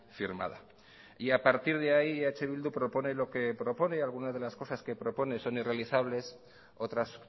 firmada y a partir de ahí eh bildu propone lo que propone algunas de las cosas que propone son irrealizables otras